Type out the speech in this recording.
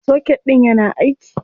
Soket ɗIn yana aiki.